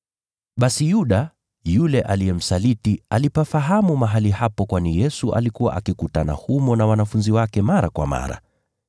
Basi Yuda, yule aliyemsaliti alipafahamu mahali hapo kwani Yesu alikuwa akikutana humo na wanafunzi wake mara kwa mara.